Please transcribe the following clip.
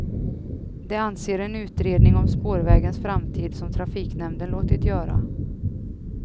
Det anser en utredning om spårvägens framtid som trafiknämnden låtit göra.